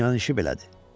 Dünyanın işi belədir.